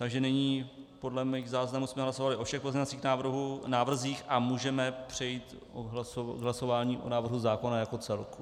Takže nyní podle mých záznamů jsme hlasovali o všech pozměňovacích návrzích a můžeme přejít k hlasování o návrhu zákona jako celku.